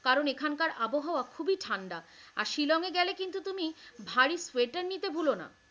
কারণ এখানকার আবহাওয়া খুবই ঠান্ডা আর শিলংয়ে গেলে কিন্তু তুমি ভারি সোয়েটার নিতে ভুলো না।